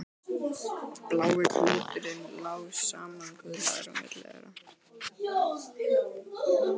Blái klúturinn lá samankuðlaður á milli þeirra.